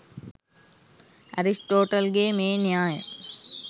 Aristotle ගේ මේ න්‍යාය